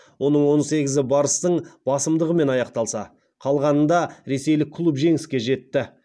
оның он сегізі барыстың басымдығымен аяқталса қалғанында ресейлік клуб жеңіске жетті